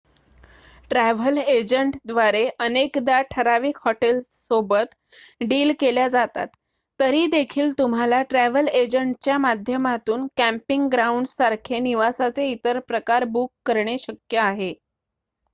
travel एजंटद्वारे अनेकदा ठराविक हॉटेल्ससोबत डिल्स केल्या जातात तरी देखील तुम्हाला ट्रॅव्हल एजंटच्या माध्यमातून कॅम्पिंग ग्राउंड्स सारखे निवासाचे इतर प्रकार बुक करणे शक्य आहे